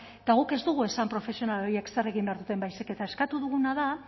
eta guk ez dugu esan profesional horiek zer egin behar duten baizik eta eskatu duguna da